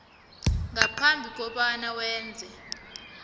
ngaphambi kobana wenze